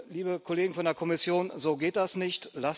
Liebe Kollegen von der Kommission, so geht das nicht.